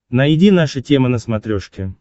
найди наша тема на смотрешке